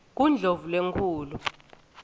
kundlovulenkhulu